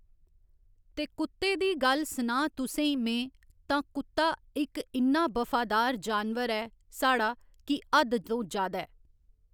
ते कुत्ते दी गल्ल सनांऽ तुसें ई में तां कुत्ता इक इन्ना बफादार जानवर ऐ साढ़ा की हद्द तो जादै